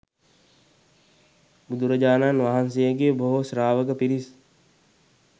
බුදුරජාණන් වහන්සේගේ බොහෝ ශ්‍රාවක පිරිස්